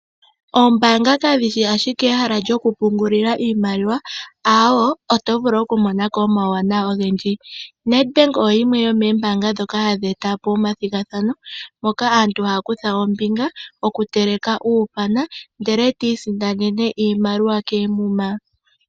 Ombaanga kadhishi ashike ehala lyoku pungulila Iimaliwa, aawo otovulu okumonako omauwanawa ogendji. Nedbank oyo yimwe yo moombaanga ndhoka hadhi etapo omathigathano ngoka aantu haya kutha ombinga, okuteleka uupana ndele taya isindanene iimaliwa koomuma.